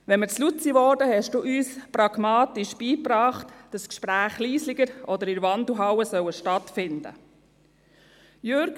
Wenn wir zu laut wurden, brachten Sie uns pragmatisch bei, dass die Gespräche leiser oder in der Wandelhalle stattfinden sollen.